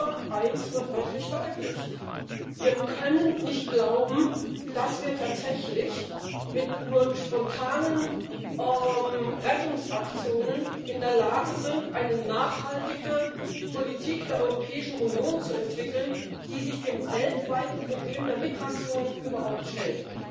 Aber eines wird wirklich deutlich Wir können nicht glauben, dass wir tatsächlich mit nur spontanen Rettungsaktionen in der Lage sind, eine nachhaltige Politik der Europäischen Union zu entwickeln, die sich dem weltweiten Problem der Migration überhaupt stellt.